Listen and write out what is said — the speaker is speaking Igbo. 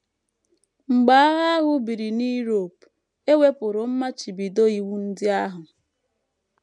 Mgbe agha ahụ biri na Europe, e wepụrụ mmachibido iwu ndị ahụ.